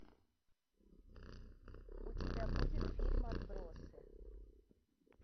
у тебя будет фильм отбросы